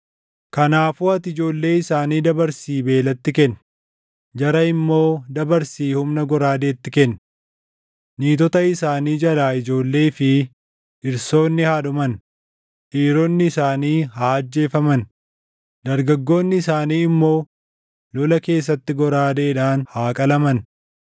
Kanaafuu ati ijoollee isaanii dabarsii beelatti kenni; jara immoo dabarsii humna goraadeetti kenni. Niitota isaanii jalaa ijoollee fi dhirsoonni haa dhuman; dhiironni isaanii haa ajjeefaman; dargaggoonni isaanii immoo lola keessatti goraadeedhaan haa qalaman.